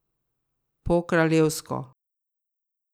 Po kraljevsko.